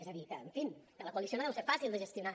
és a dir que en fi que la coalició no deu ser fàcil de gestionar